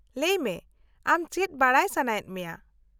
-ᱞᱟᱹᱭ ᱢᱮ, ᱟᱢ ᱪᱮᱫ ᱵᱟᱰᱟᱭ ᱥᱟᱱᱟᱭᱮᱫ ᱢᱮᱭᱟ ?